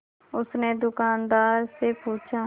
उसने दुकानदार से पूछा